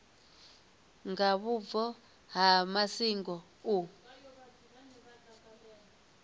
nga vhubvo ha masingo u